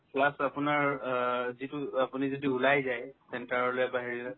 plus আপোনাৰ অ যিটো আপুনি যদি ওলাই যায় centre ৰলে বা হেৰিলে